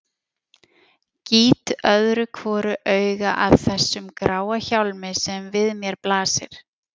Gýt öðru hvoru auga að þessum gráa hjálmi sem við mér blasir.